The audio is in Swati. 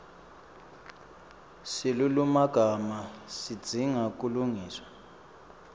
silulumagama sidzinga kulungiswa